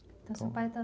Então seu pai está